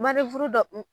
Manden furu dɔ